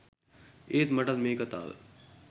ඒත් මටත් මේ කතාව